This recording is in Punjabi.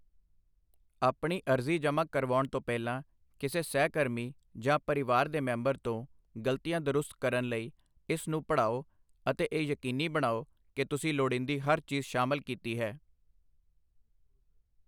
ਆਪਣੀ ਅਰਜ਼ੀ ਜਮ੍ਹਾਂ ਕਰਵਾਉਣ ਤੋਂ ਪਹਿਲਾਂ ਕਿਸੇ ਸਹਿਕਰਮੀ ਜਾਂ ਪਰਿਵਾਰ ਦੇ ਮੈਂਬਰ ਤੋਂ ਗ਼ਲਤੀਆਂ ਦਰੁਸਤ ਕਰਨ ਲਈ ਇਸ ਨੂੰ ਪੜ੍ਹਾਓ ਅਤੇ ਇਹ ਯਕੀਨੀ ਬਣਾਓ ਕਿ ਤੁਸੀਂ ਲੋੜੀਂਦੀ ਹਰ ਚੀਜ਼ ਸ਼ਾਮਲ ਕੀਤੀ ਹੈ